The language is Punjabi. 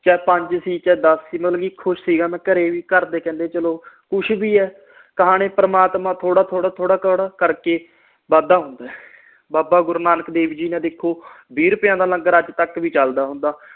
ਚਾਹੇ ਪੰਜ ਸੀ ਚਾਹੇ ਦੱਸ ਸੀ ਮਤਲਬ ਕਿ ਮੈਂ ਖੁਸ਼ ਸੀ ਗਾ ਮੈਂ ਘਰੇ ਵੀ ਘਰਦੇ ਕਹਿੰਦੇ ਚਲੋ ਕੁਛ ਵੀ ਏ ਪ੍ਰਮਾਤਮਾ ਕੇ ਥੋੜ੍ਹਾ ਥੋੜ੍ਹਾ ਥੋੜ੍ਹਾ ਕਰਕੇ ਵੱਧ ਦਾ ਹੁੰਦਾ ਏ ਬਾਬਾ ਗੁਰੂ ਨਾਨਕ ਦੇਵ ਜੀ ਦਾ ਲੰਗਰ ਦੇਖੋ ਅੱਜਤਕ ਵੀ ਚਲਦਾ ਹੁੰਦਾ